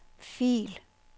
fil